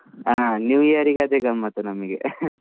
ಹಾ new year ಗೆ ಅದೆ ಗಮ್ಮತ್ತು ನಮಗೆ .